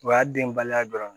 O y'a denbaliya dɔrɔn ye